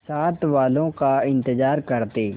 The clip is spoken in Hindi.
साथ वालों का इंतजार करते